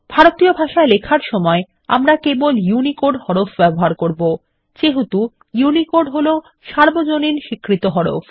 ভারতীয় ভাষায় লেখার সময় আমরা কেবল ইউনিকোড হরফ ব্যবহার করব যেহেতু ইউনিকোড হলো সর্বজনীন স্বীকৃত হরফ